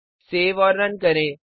save और run करें